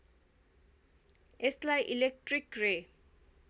यसलाई इलेक्ट्रिक रे